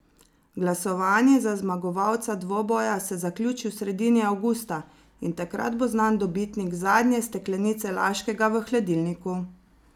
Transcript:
Glasovanje za zmagovalca dvoboja se zaključi v sredini avgusta in takrat bo znan dobitnik zadnje steklenice Laškega v hladilniku!